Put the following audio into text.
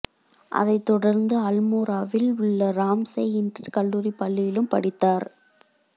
அதைத் தொடர்ந்து அல்மோராவில் உள்ள ராம்சே இன்டர் கல்லூரி பள்ளியிலும் படித்தார்